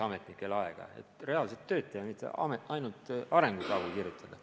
Ametnikel peab jääma aega ka reaalset tööd teha, mitte ainult arengukavu kirjutada.